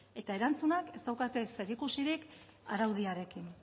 eta erantzunek ez daukate zerikusirik araudiarekin